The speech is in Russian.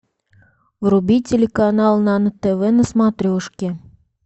вруби телеканал нано тв на смотрешке